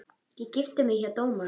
Ég gifti mig hjá dómara.